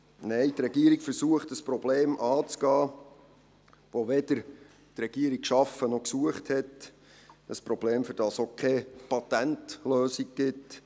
Nein, die Regierung versucht, ein Problem anzugehen, das die Regierung weder geschaffen noch gesucht hat – ein Problem, für das es auch keine Patentlösung gibt.